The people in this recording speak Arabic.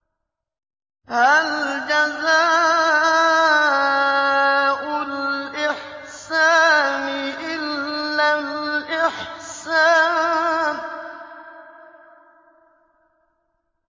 هَلْ جَزَاءُ الْإِحْسَانِ إِلَّا الْإِحْسَانُ